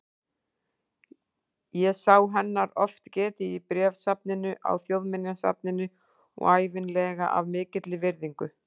Ég sá hennar oft getið í bréfasafninu á Þjóðminjasafninu og ævinlega af mikilli virðingu.